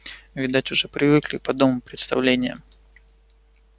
видать уже привыкли к подобным представлениям